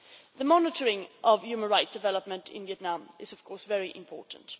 The monitoring of human rights development in Vietnam is, of course, very important.